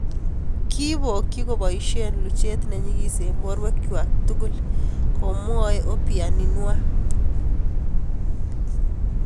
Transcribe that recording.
"Kibokchi koboisie luchet nenyigis eng' borwek chwak tugul", komwae Obianinwa.